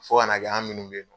Fo kana kɛ an minnu bɛ Yen nɔ